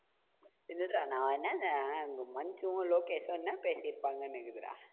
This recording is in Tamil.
ஏய் என்னடா நான் என்னன்னா இந்த மஞ்சுவும், லோகேஷும் என்ன பேசி இருப்பாங்கன்னு நெனைகுறா.